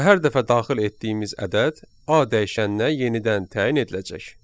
Və hər dəfə daxil etdiyimiz ədəd A dəyişəninə yenidən təyin ediləcək.